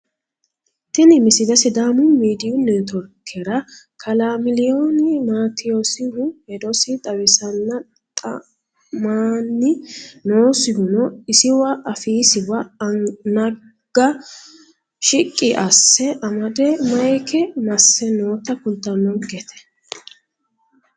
tini misile sidaamu miidiyu netiworkera kalaa miliyooni mateyoosihu hedosi xawisanna xa'manni noosihuno isiwa afiisiwa naga shiqqi asse amade mayeeka masse noota kultanonkete